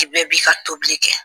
Ni bɛɛ bi fa tobili kɛ